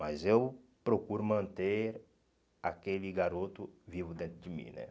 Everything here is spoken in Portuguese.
Mas eu procuro manter aquele garoto vivo dentro de mim, né?